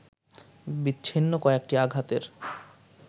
বিচ্ছিন্ন কয়েকটি আঘাতের